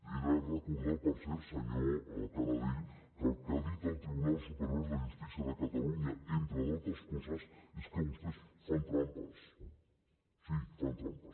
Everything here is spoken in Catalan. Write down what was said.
he de recordar per cert senyor canadell que el que ha dit el tribunal superior de justícia de catalunya entre d’altres coses és que vostès fan trampes sí fan trampes